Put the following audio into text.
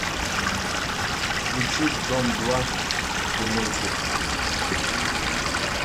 включи дом два прямой эфир